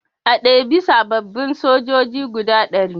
A ɗebi sababbin sojoji guda ɗari